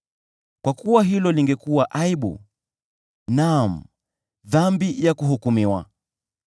Kwa kuwa hilo lingekuwa aibu, naam, dhambi ya kuhukumiwa.